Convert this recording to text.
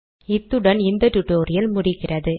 இத்துடன் நாம் இந்த டுடோரியல் முடிகிறது